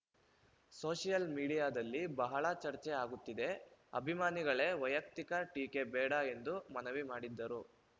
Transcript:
social ಮೀಡಿಯಾದಲ್ಲಿ ಬಹಳ ಚರ್ಚೆ ಆಗುತ್ತಿದೆ ಅಭಿಮಾನಿಗಳೇ ವೈಯುಕ್ತಿಕ ಟೀಕೆ ಬೇಡ ಎಂದು ಮನವಿ ಮಾಡಿದರು